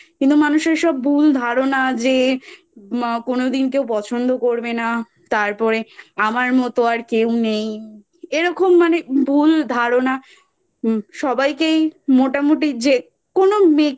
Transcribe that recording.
কিন্তু মানুষের সব ভুল ধারণা যে কোনোদিন কেউ পছন্দ করবে না তারপরে আমার মতো আর কেউ নেই এরকম মানে ভুল ধারণা সবকেই মোটামুটি যেকোনো মেয়েকে